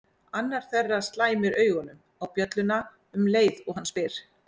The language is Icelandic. Annar þeirra slæmir augunum á bjölluna um leið og hann spyr